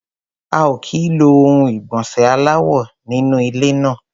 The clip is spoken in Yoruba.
A ò kì í lo ohun ìgbọ̀nsẹ̀ aláwò nínú ilé náà.